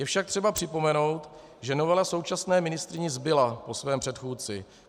Je však třeba připomenout, že novela současné ministryni zbyla po jejím předchůdci.